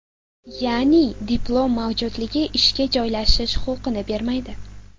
Ya’ni, diplom mavjudligi ishga joylashish huquqini bermaydi.